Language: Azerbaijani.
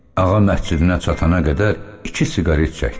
Ağa məscidinə çatana qədər iki siqaret çəkdi.